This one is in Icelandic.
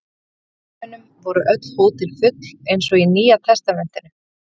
Í gamla heiminum voru öll hótel full eins og í Nýjatestamentinu.